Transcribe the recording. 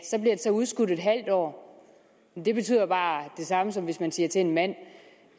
udskudt et halvt år men det betyder bare det samme som hvis man siger til en mand